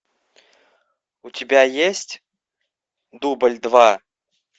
у тебя есть дубль два